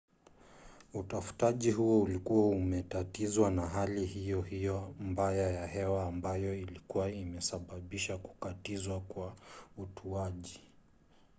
utafutaji huo ulikuwa umetatizwa na hali hiyo hiyo mbaya ya hewa ambayo ilikuwa imesababisha kukatizwa kwa utuaji